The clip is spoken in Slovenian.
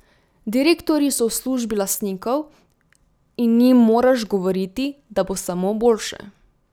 Direktorji so v službi lastnikov in njim moraš govoriti, da bo samo boljše.